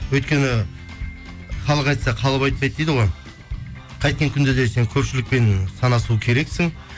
өйткені халық айтса қалып айтпайды дейді ғой қайткен күнде де сен көпшілікпен санасу керексің